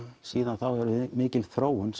síðan þá hefur mikil þróun